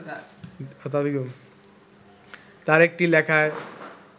তার একটি লেখায়